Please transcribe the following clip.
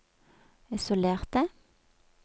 isolerte